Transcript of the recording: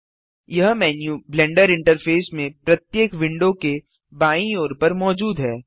यह menu Blender interface में प्रत्येक विंडो के बायीं ओर पर मौजूद है